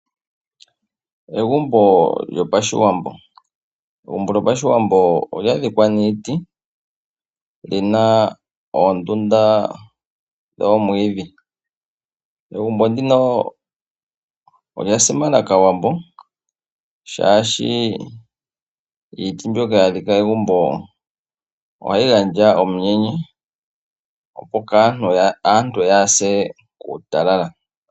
Egumbo lyOshiwambo olya dhikwa niiti, nolina oondunda dhoomwidhi . Egumbo ndino olya simana Aawambo shaashi iiti mbyoka yadhikwa kegumbo ihayi gandja uupyu opo aantu yaase kuutalala.